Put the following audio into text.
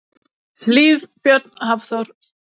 Hlíf og Björn Hafþór.